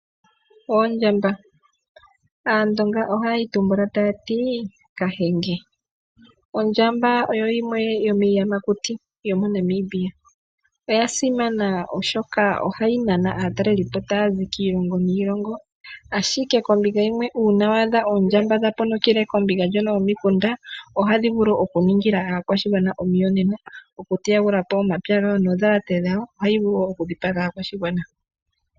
Oondjamba, aandonga ohaye yi tumbula taya ti Kahenge. Ondjamba oyo yimwe yo miiyamakuti moNamibia, oya simana oshoka ohayi nana aatalelipo taya zi kiilongo niilongo, ashike kombinga yimwe uuna waadha Oondjamba dha ponokele kombinga ndjono yoko mikunda ohayi vulu oku ningila aakwashigwana omiyonena oku teya gula po oondhalate nomapya gawo, ohayi vulu wo oku dhipaga aakwashigwa.